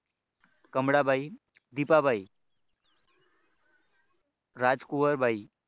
Kamalabai Dipabai Rajkuwar Bai